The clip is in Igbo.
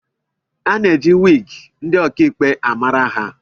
A na-eji wigi ndị ọkaikpe amara ha